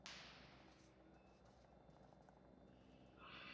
Oddsteinn, hvaða sýningar eru í leikhúsinu á mánudaginn?